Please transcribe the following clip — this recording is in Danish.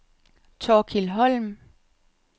Thorkild Holm